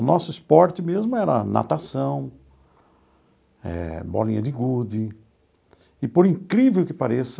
O nosso esporte mesmo era natação eh, bolinha de gude, e por incrível que pareça,